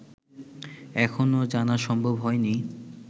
এখনো জানা সম্ভব হয়নি